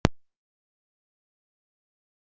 Af hverjum getum við ekki haft mosku hérna á Íslandi?